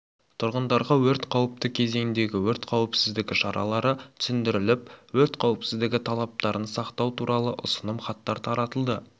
тұрғындарға өрт қауіпті кезеңдегі өрт қауіпсіздігі шаралары түсіндіріліп өрт қауіпсіздігі талаптарын сақтау туралы ұсыным хаттар таратылды